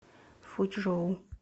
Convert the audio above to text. фучжоу